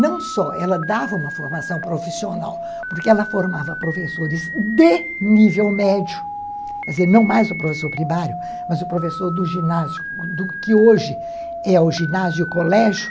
Não só, ela dava uma formação profissional, porque ela formava professores de nível médio, quer dizer, não mais o professor primário, mas o professor do ginásio, do que hoje é o ginásio e o colégio,